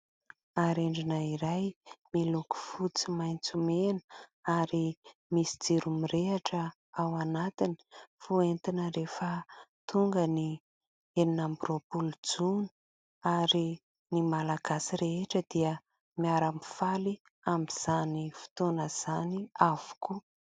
Arendrina ira miloko fotsy, maitso, mena ary misy jiro mirehitra ao anatiny, fentina rehefa tonga ny enina amby roapolo jona ary ny Malagasy rehetra dia miara-mifaly amin'izany fotoana izany avokoa.